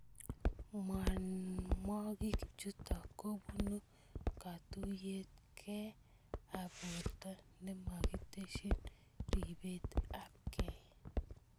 Mwanwakiki chutok ko bunu katuyet kee ab burto ne makiteshi ribet ab kei.